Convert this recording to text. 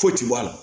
Foyi ti bɔ a la